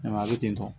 a bɛ ten tɔ